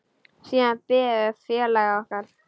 Siðan biðum við félaga okkar.